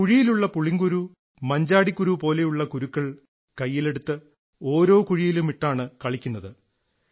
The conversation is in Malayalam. കുഴിയിലുള്ള പുളിങ്കുരു മഞ്ചാടിക്കുരു പോലുള്ള കുരുക്കൾ കൈയിലെടുത്ത് ഓരോ കുഴിഴിവുമിട്ടാണ് കളിക്കുന്നത്